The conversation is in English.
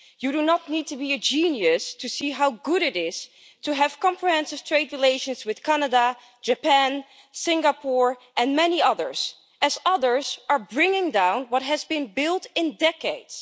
Mr Commissioner you do not need to be a genius to see how good it is to have comprehensive trade relations with Canada, Japan, Singapore and many others as others are bringing down what has been built in decades.